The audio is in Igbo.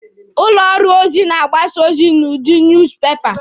Ụlọ ọrụ ozi na-agbasa ozi n'udi nuuz pepa.